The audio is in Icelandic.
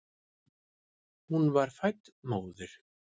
Hún var fædd móðir.